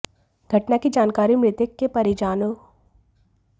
घटना की जानकारी मृतक के परिजनों को दी गई